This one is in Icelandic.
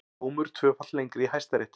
Dómur tvöfalt lengri í Hæstarétti